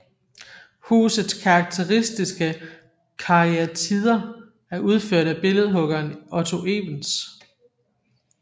Husets karakteristiske karyatider er udført af billedhuggeren Otto Evens